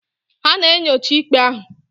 Ha na-enyocha ikpe ahụ.